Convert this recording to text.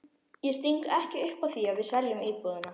Ég sting ekki upp á því að við seljum íbúðina.